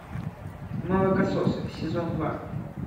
молокососы сезон два